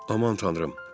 Aman Tanrım!